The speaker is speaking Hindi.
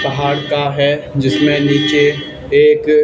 पहाड़ का हैं जिसमें नीचे एक--